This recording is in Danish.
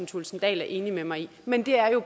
thulesen dahl er enig med mig i men det er jo